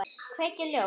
Kveikir ljós.